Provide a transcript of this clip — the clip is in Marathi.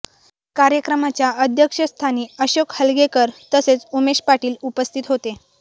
कार्यक्रमाच्या अध्यक्षस्थानी अशोक हलगेकर तसेच उमेश पाटील उपस्थित होते